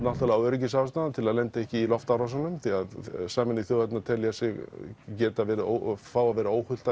náttúrulega af öryggisástæðum til að lenda ekki í loftárásum því Sameinuðu þjóðirnar telja sig fá að vera óhult